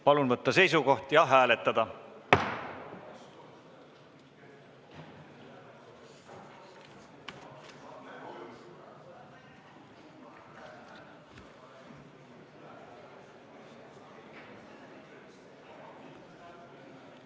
Palun võtta seisukoht ja hääletada!